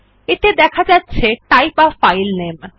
এতে দেখা যাচ্ছে টাইপ a ফাইল নামে